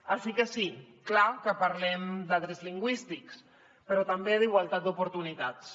així que sí és clar que parlem de drets lingüístics però també d’igualtat d’oportunitats